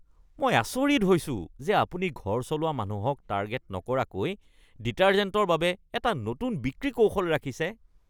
মই আচৰিত হৈছো যে আপুনি ঘৰ চলোৱা মানুহক টাৰ্গেট নকৰাকৈ ডিটাৰ্জেণ্টৰ বাবে এটা নতুন বিক্ৰী কৌশল ৰাখিছে।